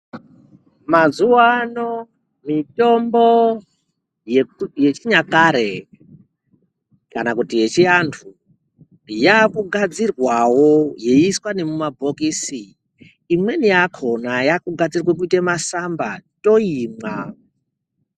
Mazuwaano mitombo yeku yechinyakare, kana kuti yechivantu, yekudhaya yaakugadzirwawo yeiiswa nemumabhokisi, imweni yakhona yaakugadzirwe kuite matsamba, toimwa.